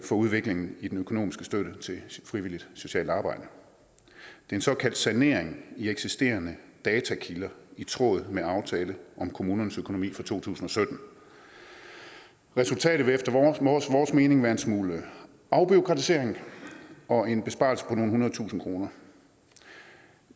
for udviklingen i den økonomiske støtte til frivilligt socialt arbejde en såkaldt sanering af eksisterende datakilder i tråd med aftale om kommunernes økonomi for to tusind og sytten resultatet vil efter vores mening være en smule afbureaukratisering og en besparelse på nogle hundrede tusinde kroner